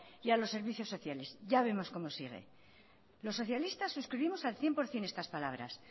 y a los servicios sociales ya vemos cómo sigue los socialistas suscribimos al cien por ciento estas palabras